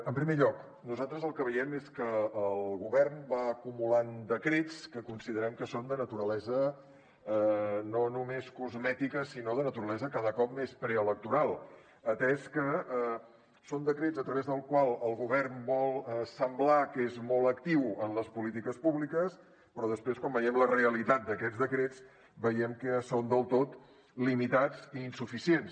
en primer lloc nosaltres el que veiem és que el govern va acumulant decrets que considerem que són de naturalesa no només cosmètica sinó de naturalesa cada cop més preelectoral atès que són decrets a través dels quals el govern vol semblar que és molt actiu en les polítiques públiques però després quan veiem la realitat d’aquests decrets veiem que són del tot limitats i insuficients